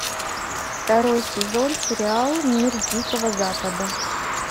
второй сезон сериал мир дикого запада